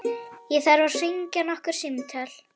Ég þarf að hringja nokkur símtöl.